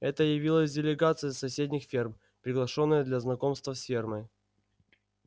это явилась делегация с соседних ферм приглашённая для знакомства с фермой